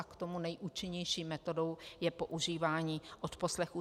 A k tomu nejúčinnější metodou je používání odposlechů.